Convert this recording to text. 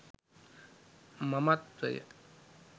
මමත්වය